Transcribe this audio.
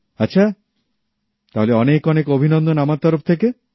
আচ্ছা তাহলে অনেক অনেক অভিনন্দন আমার তরফ থেকে